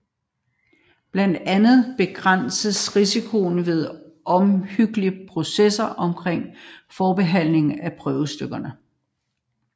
Blandt andet begrænses risikoen ved omhyggelige procedurer omkring forbehandling af prøvestykkerne